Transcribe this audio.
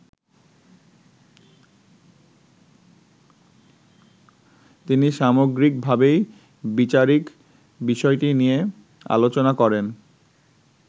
তিনি সামগ্রিকভাবেই বিচারিক বিষয়টি নিয়ে আলোচনা করেন।